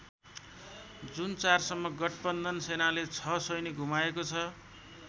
जुन ४ सम्म गठबन्धन सेनाले ६ सैनिक गुमाएको छ।